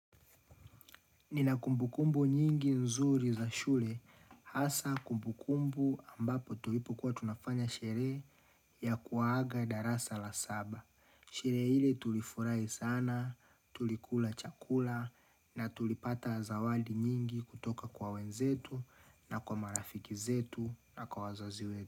Nina kumbukumbu nyingi nzuri za shule hasa kumbukumbu ambapo tulipokua tunafanya sherehe ya kuwaaga darasa la saba. Sherehe ile tulifurahi sana, tulikula chakula na tulipata zawadi nyingi kutoka kwa wenzetu na kwa marafiki zetu na kwa wazazi we.